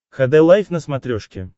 хд лайф на смотрешке